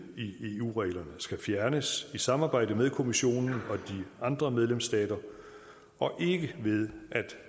i eu reglerne skal fjernes i samarbejde med kommissionen og de andre medlemsstater og ikke ved